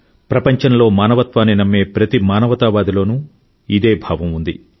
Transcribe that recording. ప్రపంచంలో మానవత్వాన్ని నమ్మే ప్రతి మానవతావాద సముదాయం లోనూ ఇదే భావం ఉంది